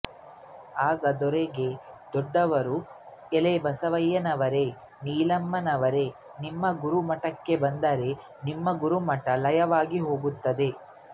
ಆಗ ಧರೆಗೆ ದೊಡ್ಡವರು ಏಲೈ ಬಸವಣ್ಣನವರೇ ನೀಲಮ್ಮನವರೆ ನಿಮ್ಮ ಗುರು ಮಠಕ್ಕೆ ಬಂದರೆ ನಿಮ್ಮ ಗುರುಮಠ ಲಯವಾಗಿ ಹೋಗುತ್ತದೆ